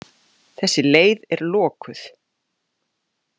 Þessi leið er lokuð.